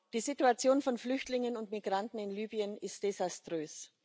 Die Situation von Flüchtlingen und Migranten in Libyen ist desaströs.